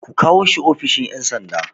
Ku kawo shi ofishin ƴan sanda